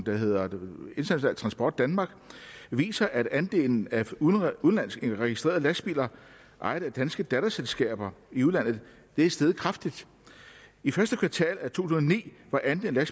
der hedder international transport danmark viser at andelen af udenlandsk registrerede lastbiler ejet af danske datterselskaber i udlandet er steget kraftigt i første kvartal af to tusind og ni var andelen af